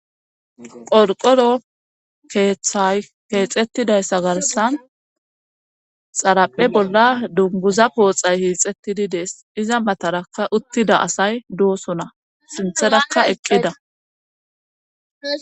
qolqoro keeththay keexettidayssa garsan xaraphe bolla dunguza pooxay hiixettididees iza matarakka uttida asay doosona sintherakka eqqida.